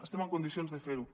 estem en condicions de fer ho